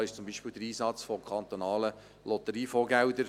Denkbar ist zum Beispiel der Einsatz kantonaler Lotteriefondsgelder.